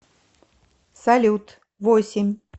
салют восемь